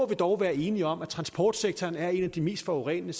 vi dog være enige om at transportsektoren er en af de mest forurenende